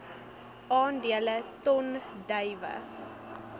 aandele ton druiwe